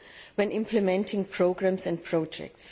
when implementing programmes and projects.